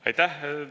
Aitäh!